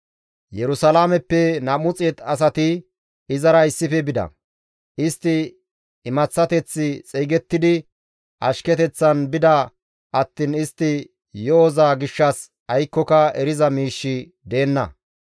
Yerusalaameppe 200 asati izara issife bida; istti imaththateth xeygettidi ashketeththan bida attiin istti yo7oza gishshas aykkoka eriza miishshi deenna.